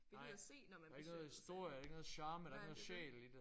Der gider se når man besøger Hvide Sande nej det er det